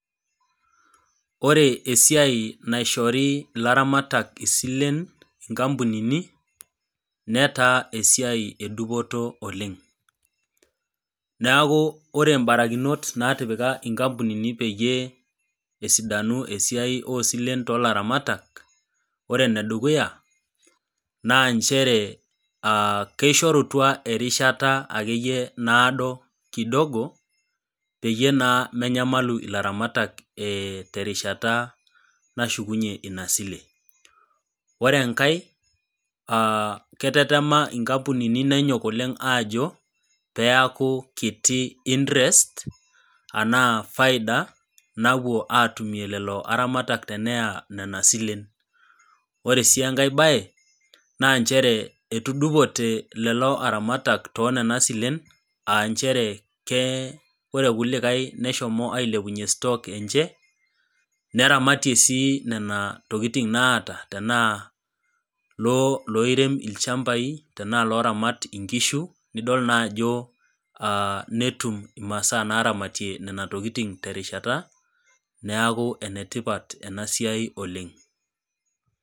Oreesiai naishori laramatak isilen nkampunini netaa esiai edupoto oleng neaku ore mbakrikinot natipika nkampuni peyie esidanu esiai osilen tolaramatak ore enedukuya na nchere kishorutia erishata akeyie naado kidogo peyie naa menyamalu laramatak terishata nashukunye inasile ore enkae aa etetema nkampunini peaku kiti intrest anaa faida napuo atumie lolo aramatak tenepuo aya nona silen ore si enkae bae nanchere etudupote lolo aramatak to nona silen aa nchere ore rkulikae neshomoita aponaa stock aa nche neramatie si nona tokitin naata taanaa loirem lchmbai tanaa loramat inkishu nidol naa ajo netum imasaa naramatie nona tokitin terishata neaku enetipat enasiai oleng.